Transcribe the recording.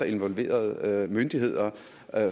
involverede myndigheder